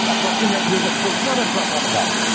Atası ilə bir yerdə polis adresinə aparıblar.